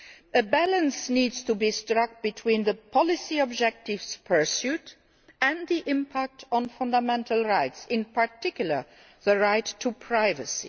A balance needs to be struck between the policy objectives pursued and the impact on fundamental rights, in particular the right to privacy.